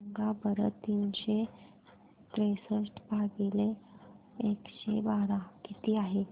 सांगा बरं तीनशे त्रेसष्ट भागीला एकशे बारा किती आहे